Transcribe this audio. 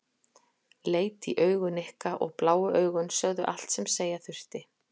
Leit í augu Nikka og bláu augun sögðu allt sem segja þurfti.